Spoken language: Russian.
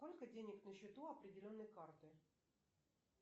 сколько денег на счету определенной карты